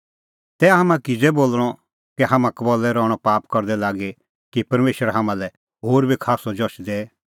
तै हाम्हां किज़ै बोल़णअ कै हाम्हां कबल्लै रहणअ पाप करदै लागी कि परमेशर हाम्हां लै होर बी खास्सअ जश दैए